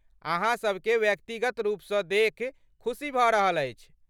अहाँ सबकेँ व्यक्तिगत रूपसँ देखि खुशी भऽ रहल अछि।